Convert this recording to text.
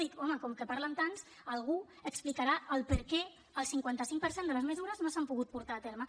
dic home com que parlen tants algú explicarà per què el cinquanta cinc per cent de les mesures no s’han pogut portar a terme